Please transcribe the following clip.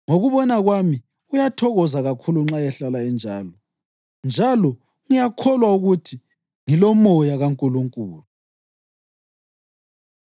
Ngokubona kwami, uyathokoza kakhulu nxa ehlala enjalo, njalo ngiyakholwa ukuthi ngiloMoya kaNkulunkulu.